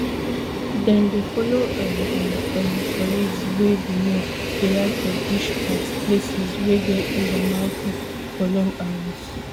dem dey follow um dia um colleagues wey be men dey ride for bush paths places wey get hills and moutains for long hours